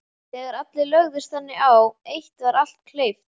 Þegar allir lögðust þannig á eitt var allt kleift.